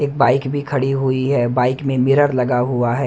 की बाइक भी खड़ी हुई है बाइक में मिरर लगा हुआ है।